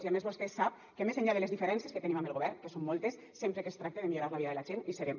i a més vostè sap que més enllà de les diferències que tenim amb el govern que són moltes sempre que es tracta de millorar la vida de la gent hi serem